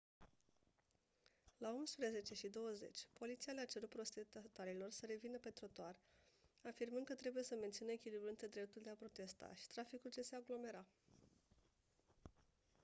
la 11:20 poliția le-a cerut protestatarilor să revină pe trotuar afirmând că trebuie să mențină echilibrul între dreptul de a protesta și traficul ce se aglomera